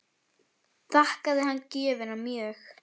Þakkaði hann gjöfina mjög.